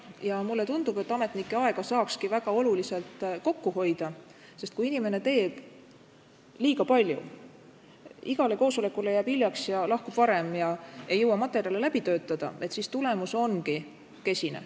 Ja mulle tundub, et ametnike aega saaks väga olulisel määral kokku hoida, sest kui inimene teeb liiga palju, igale koosolekule jääb hiljaks ja lahkub varem ega jõua materjale läbi töötada, siis tulemus on kesine.